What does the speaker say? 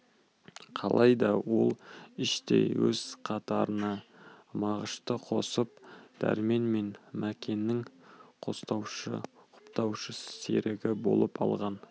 қалайда ол іштей өз қатарына мағышты қосып дәрмен мен мәкеннің қостаушы құптаушы серігі болып алған